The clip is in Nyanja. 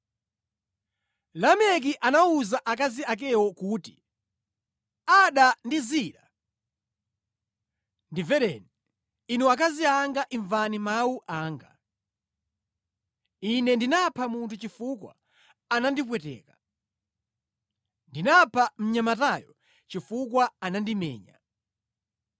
Lameki anawuza akazi akewo kuti, “Ada ndi Zila, ndimvereni; inu akazi anga imvani mawu anga. Ine ndinapha munthu chifukwa anandipweteka. Ndinapha mnyamatayo chifukwa anandimenya.